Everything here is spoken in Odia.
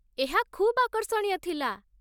ଏହା ଖୁବ୍ ଆକର୍ଷଣୀୟ ଥିଲା